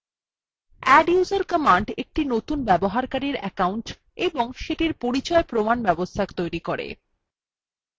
adduser command একটি নতুন ব্যবহারকারীর অ্যাকউন্ট এবং সেটির পরিচয় প্রমাণ ব্যবস্থা তৈরী করে